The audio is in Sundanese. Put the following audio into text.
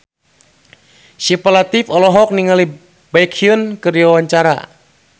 Syifa Latief olohok ningali Baekhyun keur diwawancara